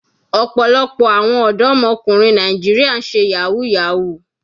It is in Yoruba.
Ọ̀pọ̀lọpọ̀ àwọn ọ̀dọ́mọkùnrin Nàìjíríà ń ṣe yahoo yahoo.